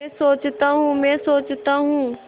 मैं सोचता हूँ मैं सोचता हूँ